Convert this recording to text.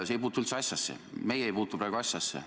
See ei puutu üldse asjasse, meie ei puutu praegu asjasse.